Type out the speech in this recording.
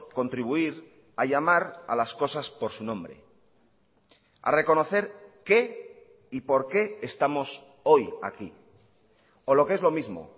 contribuir a llamar a las cosas por su nombre a reconocer qué y por qué estamos hoy aquí o lo que es lo mismo